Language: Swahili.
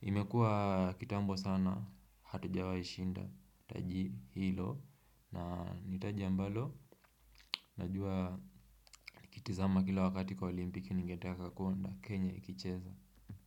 imekuwa kitambo sana hatujawai shinda taji hilo na ni taji ambalo najua kitizama kila wakati kwa olimpiki ningeteka kakonda Kenya ikicheza.